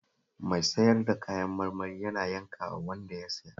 Mai sayar da kayan marmarin yana yankawa wanda ya siya